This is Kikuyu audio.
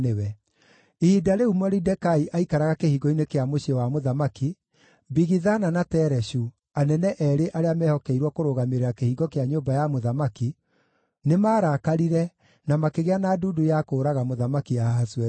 Ihinda rĩu Moridekai aikaraga kĩhingo-inĩ kĩa mũciĩ wa mũthamaki, Bigithana na Tereshu, anene eerĩ arĩa meehokeirwo kũrũgamĩrĩra kĩhingo kĩa nyũmba ya mũthamaki, nĩmarakarire, na makĩgĩa na ndundu ya kũũraga Mũthamaki Ahasuerusu.